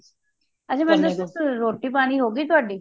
ਅੱਛਾ ਮੈਨੂੰ ਦੱਸੋ ਰੋਟੀ ਪਾਣੀ ਹੋ ਗਯੀ ਤੁਹਾਡੀ